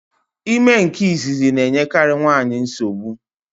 Ime nke izizi na-enyekari nwaanyị nsogbu.